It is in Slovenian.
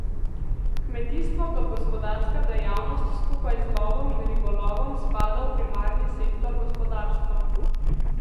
Kmetijstvo kot gospodarska dejavnost skupaj z lovom in ribolovom spada v primarni sektor gospodarstva.